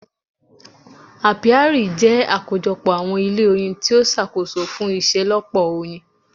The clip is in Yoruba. Apiari jẹ́ àkójọ pọ àwọn ilé oyin tí a ṣàkóso fún iṣelọpọ oyin.